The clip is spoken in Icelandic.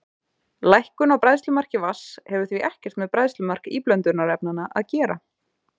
Lækkun á bræðslumarki vatns hefur því ekkert með bræðslumark íblöndunarefnanna að gera.